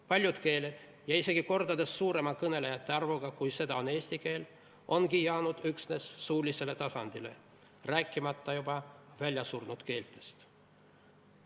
Paljud keeled – ja isegi kordades suurema kõnelejate arvuga, kui seda on eesti keel – ongi jäänud üksnes suulisele tasandile, rääkimata juba väljasurnud keeltest.